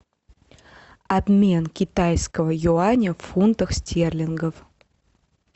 обмен китайского юаня в фунтах стерлингов